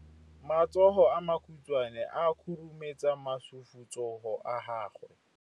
Matsogo a makhutshwane a khurumetsa masufutsogo a gago.